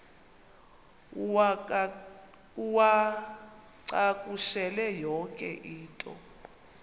uwacakushele yonke into